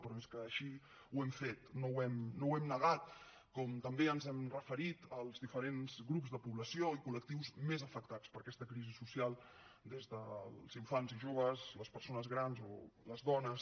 però és que així ho hem fet no ho hem negat com també ens hem referit als diferents grups de població i col·lectius més afectats per aquesta crisi social des dels infants i joves a les persones grans o les dones